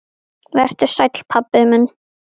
Vertu sæll, pabbi minn.